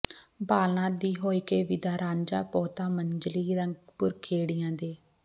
ਬਾਲਨਾਥ ਥੀਂ ਹੋਇਕੇ ਵਿਦਾ ਰਾਂਝਾ ਪਹੁਤਾ ਮੰਜ਼ਲੀਂ ਰੰਗ ਪੁਰ ਖੇੜਿਆਂ ਦੇ